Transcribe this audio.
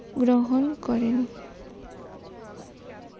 গ্ররন করেন।